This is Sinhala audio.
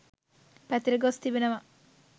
පැතිරගොස් තිබෙනවා